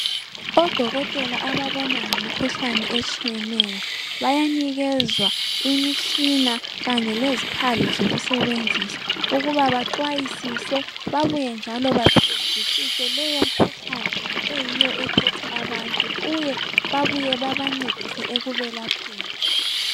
Odokotela ababona ngemikhuhlane etshiyeneyo, bayanikezwa imitshina kanye lezikhali zokusebenzisa ukuba baxwayisise babuye njalo baqedisise leyo mkhuhlane eyiyo ephethe abantu uye babuye bebancedise ekubelapheni.